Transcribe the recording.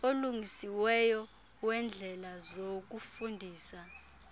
olungisiweyo weendlela zokufundisa